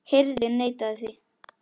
Hirðin neitaði því.